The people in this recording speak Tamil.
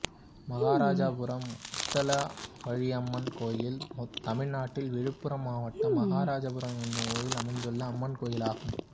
மகாராஜபுரம் முத்தாலவாழியம்மன் கோயில் தமிழ்நாட்டில் விழுப்புரம் மாவட்டம் மகாராஜபுரம் என்னும் ஊரில் அமைந்துள்ள அம்மன் கோயிலாகும்